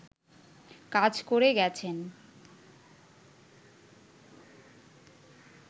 কাজ করে গেছেন